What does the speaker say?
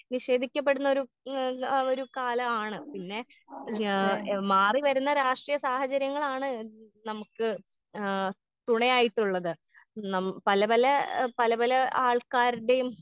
നിഷേധിക്കപ്പെടുന്നൊരു ഉം ആ ഒരു കാലമാണ് പിന്നെ ഏ ഏ മാറി വരുന്ന രാഷ്ട്രീയ സാഹചര്യങ്ങളാണ് നമുക്ക് ആ തുണയായിട്ടുള്ളത് നം പലപല ഏ പലപല ആൾക്കാര്ടീം.